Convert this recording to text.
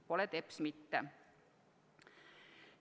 – pole teps mitte tasuta.